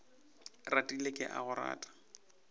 ratile ke a go rata